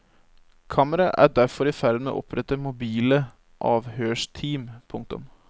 Kammeret er derfor i ferd med å opprette mobile avhørsteam. punktum